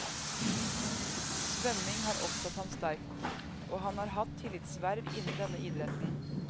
Svømming har opptatt ham sterkt, og han har hatt tillitsverv innen denne idretten.